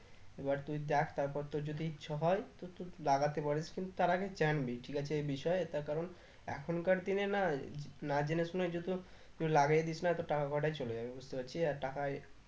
এবার তুই দেখ তারপর তোর যদি ইচ্ছে হয়ে তো তুই লাগাতে পারিস কিন্তু তার আগে জানবি ঠিক আছে এই বিষয়ে তার কারণ এখনকার দিনে না না জেনে শুনে যে তুই লাগাই দিস না তোর টাকা কটাই চলে যাবে বুঝতে পারছিস আর টাকাই